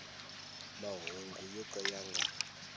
mahungu yo ka ya nga